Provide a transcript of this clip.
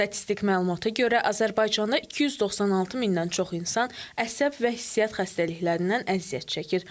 Statistik məlumata görə Azərbaycanda 296 mindən çox insan əsəb və hissiyyat xəstəliklərindən əziyyət çəkir.